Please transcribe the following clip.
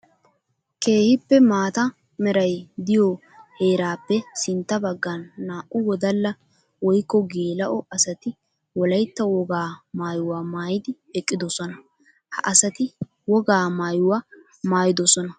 Keehippe maata meray de'iyo heerappe sintta bagan naa'u wodalla woykko geela'o asatti wolaytta wogaa maayuwa maayiddi eqqidosonna. Ha asaatti wogaa maayuwa maayidosonna.